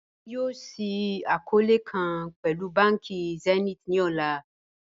Ẹ̀mi yọọ̀ ṣíì akọọ̀lẹ̀ kan pẹ̀lú bánkì Zenith ni ọlá